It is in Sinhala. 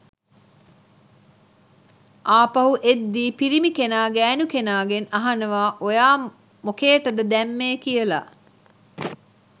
ආපහු එද්දී පිරිමි කෙනා ගෑණු කෙනාගෙන් අහනවා ඔයා මොකේටද දැම්මේ කියලා